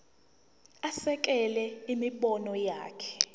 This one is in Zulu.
asekele imibono yakhe